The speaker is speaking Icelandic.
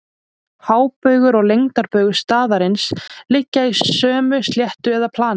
Hábaugur og lengdarbaugur staðarins liggja í sömu sléttu eða plani.